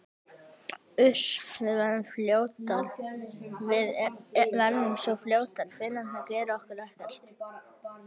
Uss, við verðum svo fljótar, Finnarnir gera okkur ekkert.